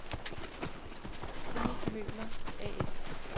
Zenith Møbler A/S